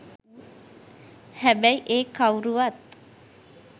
හැබැයි ඒ කවුරුවත්